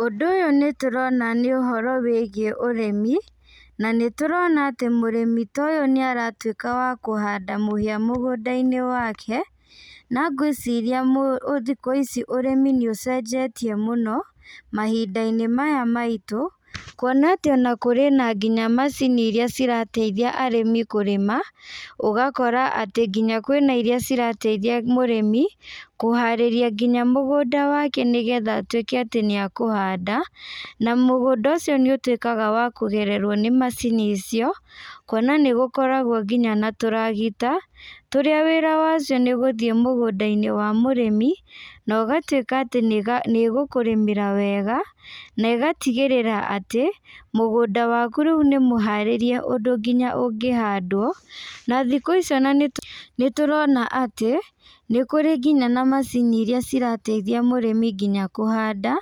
Ũndũ ũyũ nĩtũrona nĩũhoro wĩgiĩ ũrĩmi, na nĩtũrona atĩ mũrĩmi ta ũyũ nĩaratuĩka wa kũhandũ mahĩa mũgũndainĩ wake, na ngwĩciria mu thikũ ĩci ũrĩmi nĩũcenjetie mũno, mahindainĩ maya maitũ, kuona atĩ ona kũrĩ na nginya macini iria cirateithia arĩmi kũrĩma, ũgakora atĩ nginya kwĩna iria cirateithia mũrĩmi, kũharĩria nginya mũgũnda wake nĩgetha atuĩke atĩ nĩakũhanda, na mũgũnda ũcio nĩũtuĩkaga wa kũgererwo nĩ macini icio, kuona nĩgũkoragwo nginya na tũragita, tũrĩa wĩra wacio nĩgũthiĩ mũgũndainĩ wa mũrĩmi, na ũgatuĩka atĩ nĩga nĩgũkũrĩmĩra wega, na ĩgatigĩrĩra atĩ, mũgũnda waku rĩu nĩmũharĩrie ũndũ nginya ũngĩhandwo, na thikũ ici nanĩtũ nĩtũrona atĩ, nĩkũrĩ nginya na macini iria cirateithia mũrĩmi nginya kũhanda,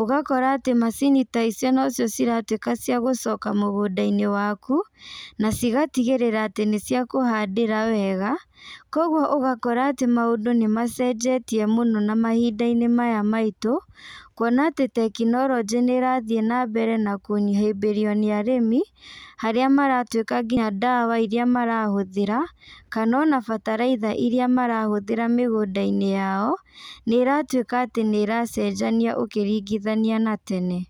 ũgakora atĩ macini ta icio no cio ciratuĩka cia gũcoka mũgũndainĩ waku, na cigatigĩrĩra atĩ nĩciakũhandĩra wega, koguo ũgakora atĩ maũndũ nĩmacenjetie mũno na mahindainĩ maya maitũ, kuona atĩ tekinorojĩ nĩrathiĩ nambere na kũhĩmbĩrio nĩ arĩmi, harĩa maratuĩka nginya ndawa iria marahũthĩra, kana ona bataraitha iria marahũthĩra mĩgũndainĩ yao, nĩratuĩka atĩ nĩracenjanio ũkĩringithania na tene.